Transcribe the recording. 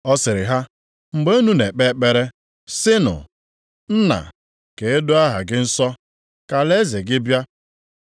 Ọ sịrị ha, “Mgbe unu na-ekpe ekpere, sịnụ: “ ‘Nna, ka e doo aha gị nsọ ka alaeze gị bịa.